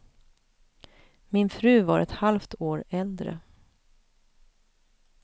Min fru var ett halft år äldre.